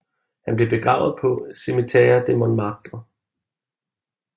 Han blev begravet på Cimetière de Montmartre